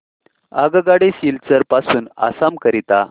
आगगाडी सिलचर पासून आसाम करीता